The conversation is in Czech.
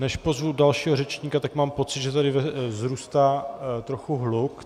Než pozvu dalšího řečníka, tak mám pocit, že tady vzrůstá trochu hluk.